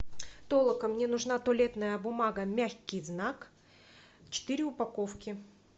толока мне нужна туалетная бумага мягкий знак четыре упаковки